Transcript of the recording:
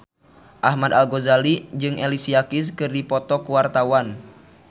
Ahmad Al-Ghazali jeung Alicia Keys keur dipoto ku wartawan